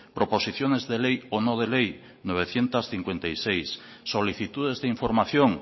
proposiciones de ley o no de ley novecientos cincuenta y seis solicitudes de información